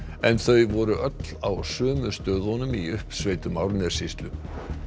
en þau voru öll á sömu stöðunum í uppsveitum Árnessýslu